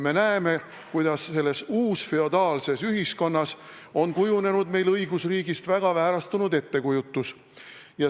Me näeme, kuidas selles uusfeodaalses ühiskonnas on meil kujunenud õigusriigist väga väärastunud ettekujutus.